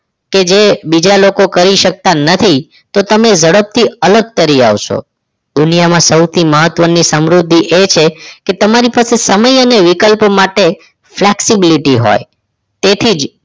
કે જે બીજા લોકો કરી શકતા નથી તો તમે ઝડપથી અલગ તરી આવશો દુનિયામાં સૌથી મહત્વની સમૃદ્ધિ એ છે કે તમારી પાસે સમય અને વિકલ્પ માટે flexibility હોય તેથી જ